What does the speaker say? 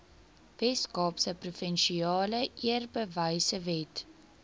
weskaapse provinsiale eerbewysewet